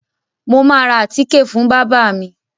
Mo máa ra àtíke fún bábà mi.